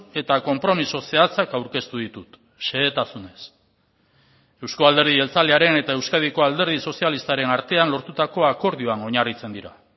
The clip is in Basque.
eta konpromiso zehatzak aurkeztu ditut xehetasunez euzko alderdi jeltzalearen eta euskadiko alderdi sozialistaren artean lortutako akordioan oinarritzen dira